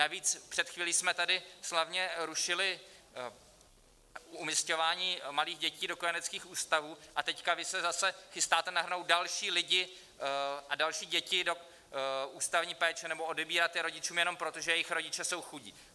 Navíc před chvílí jsme tady slavně rušili umisťování malých dětí do kojeneckých ústavů, a teď vy se zase chystáte nahrnout další lidi a další děti do ústavní péče nebo odebírat je rodičům jenom proto, že jejich rodiče jsou chudí.